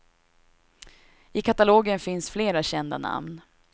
I katalogen finns flera kända namn.